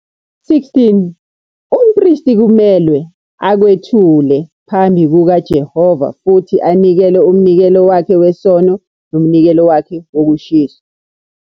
16 Umpristi kumelwe akwethule phambi kukaJehova futhi anikele umnikelo wakhe wesono nomnikelo wakhe wokushiswa.